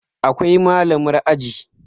Akwai Malamar aji